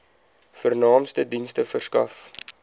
vernaamste dienste verskaf